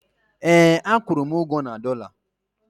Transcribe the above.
ee, a kwụrụ m ugwo na dollar